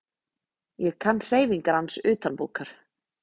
Ég kann hreyfingar hans utanbókar.